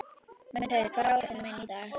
Mundheiður, hvað er á áætluninni minni í dag?